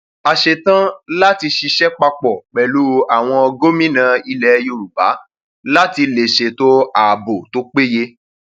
a ṣetán láti ṣiṣẹ papọ pẹlú àwọn gómìnà ilẹ yorùbá láti lè ṣètò ààbò tó péye